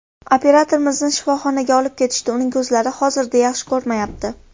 Operatorimizni shifoxonaga olib ketishdi, uning ko‘zlari hozirda yaxshi ko‘rmayapti.